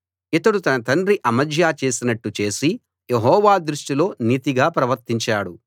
ఇతడు తన తండ్రి అమజ్యా చేసినట్టు చేసి యెహోవా దృష్టిలో నీతిగా ప్రవర్తించాడు